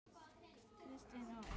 Kristin og Eva.